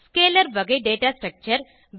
scalar வகை data structure